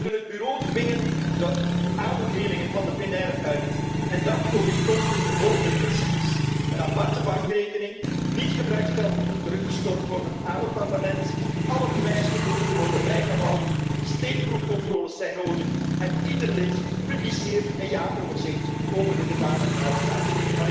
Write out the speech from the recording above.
We moeten het Bureau dwingen de aanbevelingen van de plenaire uit te voeren en dat overeenkomstig de volgende principes een aparte bankrekening, niet gebruikt geld moet teruggestort worden aan het Parlement, alle bewijsstukken moeten worden bijgehouden, steekproefcontroles zijn nodig en ieder lid publiceert een jaaroverzicht over de gedane uitgaven.